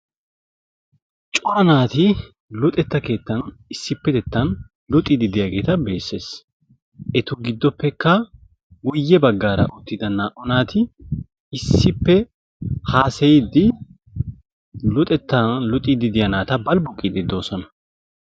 cora naati luxxeta keettan issippe luxxiidi diyaageeta besees. etu giddoppekka giddo bagaara uttida naa"u naati issippe haasayiidi luxettaa luxxiya naata balbuqiidi de'oosona.